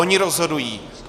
Oni rozhodují.